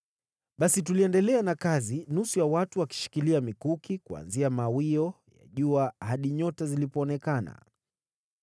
Basi tuliendelea na kazi, nusu ya watu wakishikilia mikuki, kuanzia mawio ya jua hadi nyota zilipoonekana.